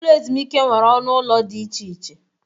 Ụlọ ezumike nwere ọnụ ụlọ dị iche iche.